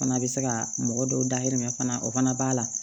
Fana bɛ se ka mɔgɔ dɔw dahirimɛ fana o fana b'a la